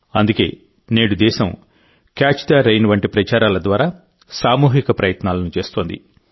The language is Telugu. అందుకే నేడు దేశం క్యాచ్ ద రెయిన్ వంటి ప్రచారాల ద్వారా సామూహిక ప్రయత్నాలను చేస్తోంది